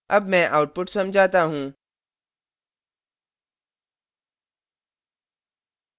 अब मैं output समझाता हूँ